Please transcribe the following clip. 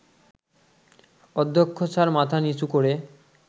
অধ্যক্ষ স্যার মাথা নিচু করে